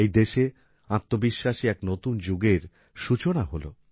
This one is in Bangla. এই দেশে আত্মবিশ্বাসী এক নতুন যুগের সূচনা হল